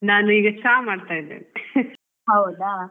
ನಾನ್ ಈಗ ಚಾ ಮಾಡ್ತಾ ಇದ್ದೀನಿ